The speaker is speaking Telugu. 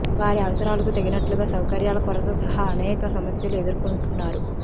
వారి అవసరాలకు తగినట్లుగా సౌకర్యాల కొరత సహా అనేక సమస్యలు ఎదుర్కొంటున్నారు